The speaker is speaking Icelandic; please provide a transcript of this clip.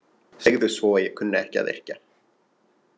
Segðu svo að ég kunni ekki að yrkja!